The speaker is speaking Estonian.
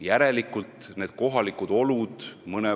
Ka praegu on Reformierakond Tartus võimul.